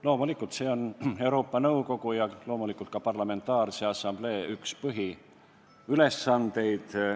Loomulikult on see Euroopa Nõukogu ja loomulikult ka parlamentaarse assamblee üks põhiülesandeid.